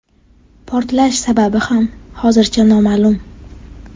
Portlash sababi ham hozircha noma’lum.